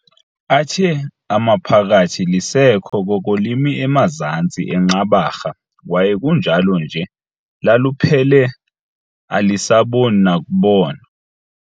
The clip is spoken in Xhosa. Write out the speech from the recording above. Athe amaphakathi "Lisekho koko limi emazantsi eNqabarha, kwaye kunjalo nje laluphele alisaboni nokubona."